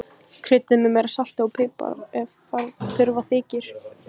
Kryddið með meira salti og pipar ef þurfa þykir.